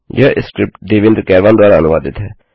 यह स्क्रिप्ट देवेन्द्र कैरवान द्वारा अनुवादित है